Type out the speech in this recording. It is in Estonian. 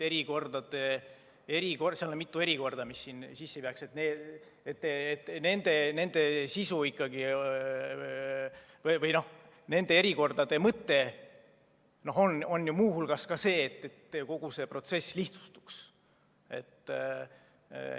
Seal on mitu erikorda, mis sinna sisse peaks käima, ja nende sisu või nende erikordade mõte on ju muu hulgas see, et kogu see protsess lihtsustuks.